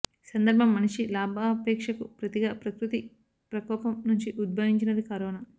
సందర్భం మనిషి లాభాపేక్షకు ప్రతిగా ప్రకృతి ప్రకోపం నుంచి ఉద్భవించినది కరోనా